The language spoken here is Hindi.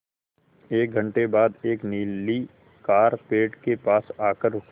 एक घण्टे बाद एक नीली कार पेड़ के पास आकर रुकी